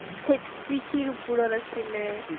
set কৃষিৰ ওপৰত আছিলে